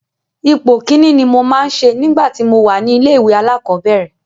Ipò Kínní ni mo máa ń ṣe nígbà tí mo wà ní ilé-ìwé alákọ̀ọ́bẹ̀rẹ̀.